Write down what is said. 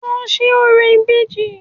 Lọ ṣe orò ìbejì